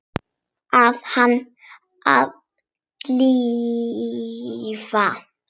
Bað hana að drífa sig.